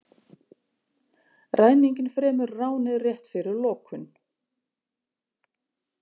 Ræninginn fremur ránið rétt fyrir lokun